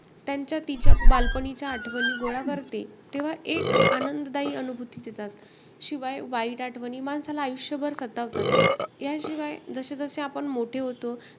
त्यांच्या तिच्या बालपणीच्या आठवणी गोळा करते, तेव्हा एक आनंदायी अनुभूती देतात. शिवाय वाईट आठवणी माणसाला आयुष्यभर सतावतात. याशिवाय आपण जसे-जसे मोठे होतो,